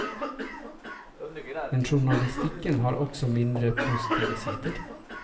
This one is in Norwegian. Men journalistikken har også mindre positive sider.